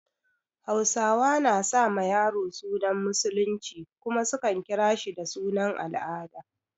Hausawa na sa ma yaro sunan Musulunci kuma su kan kira shi da sunan al'ada.